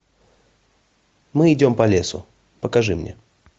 мы идем по лесу покажи мне